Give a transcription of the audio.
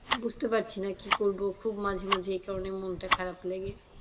বুঝতে পারছি না কি করব খুব মাঝে মাঝে এই কারণে মনটা খারাপ লাগে,